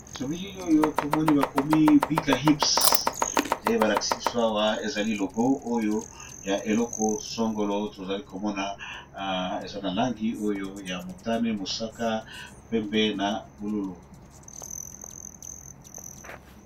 Na bilili oyo tomoni bakomi bigger hips ndebakolakisa biso Awa eza logo oyo ya eloko songolo tomoni eza na balangi oyo motani, mosaka pe na bonzinga.